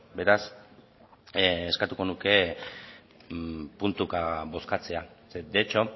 beraz eskatuko nuke puntuka bozkatzea de hecho